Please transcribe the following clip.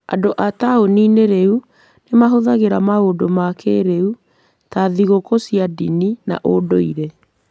Andũ a taũni-inĩ rĩu nĩ mahũthagĩra maũndũ ma kĩĩrĩu ta thigũkũ cia ndini na ũndũire.